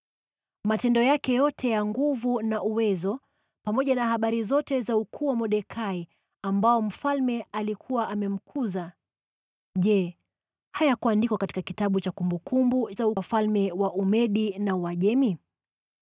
Matendo yake yote ya nguvu na uwezo, pamoja na habari zote za ukuu wa Mordekai ambao mfalme alikuwa amemkuza, je, hayakuandikwa katika kitabu cha kumbukumbu za wafalme wa Umedi na Uajemi?